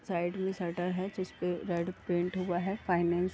Side में shutter है। जिस पे रेड पेन्ट हुआ है फाइनेंस --